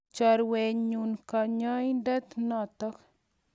Chorwet nyu kanyaindet notok.